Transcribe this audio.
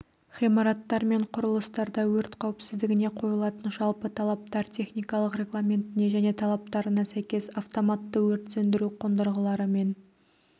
ғимараттар мен құрылыстарда өрт қауіпсіздігіне қойылатын жалпы талаптар техникалық регламентіне және талаптарына сәйкес автоматты өрт сөндіру қондырғыларымен